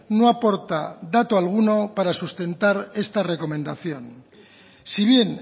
no aporta dato alguno para sustentar esta recomendación si bien